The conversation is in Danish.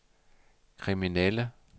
kriminelle